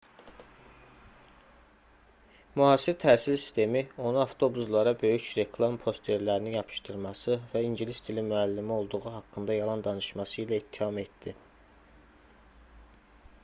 müasir təhsil sistemi onu avtobuslara böyük reklam posterlərini yapışdırması və baş i̇ngilis dili müəllimi olduğu haqqında yalan danışması ilə ittiham etdi